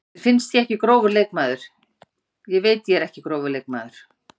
Mér finnst ég ekki grófur leikmaður, ég veit ég er ekki grófur leikmaður.